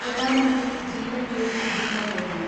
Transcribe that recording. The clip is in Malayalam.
പ്രധാൻ മന്ത്രി ജീവൻ ജ്യോതി ബീമ യോജന